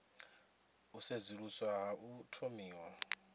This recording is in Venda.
u sedzuluswa ha u thomiwa